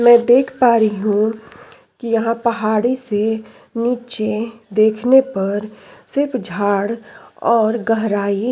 मै देख पा रही हूँ की यहाँ पहाड़ी से नीचे देखने पर सिर्फ झाड़ और गहराई --